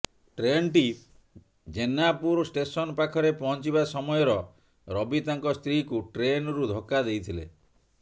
ଟ୍ରେନ୍ଟି ଜେନାପୁର ଷ୍ଟେସନ୍ ପାଖରେ ପହଞ୍ଚିବା ସମୟର ରବି ତାଙ୍କ ସ୍ତ୍ରୀକୁ ଟ୍ରେନ୍ରୁ ଧକ୍କା ଦେଇଥିଲେ